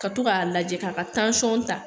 Ka tɔ ka lajɛ k'a ka ta.